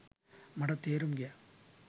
මටත් තේරුම් ගියා